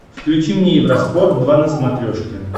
включи мне евроспорт два на смотрешке